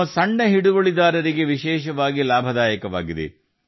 ನಮ್ಮ ಸಣ್ಣ ರೈತರಿಗೆ ಸಿರಿಧಾನ್ಯ ವಿಶೇಷವಾಗಿ ಪ್ರಯೋಜನಕಾರಿಯಾಗಿದೆ